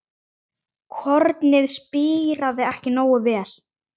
Kornið spíraði ekki nógu vel.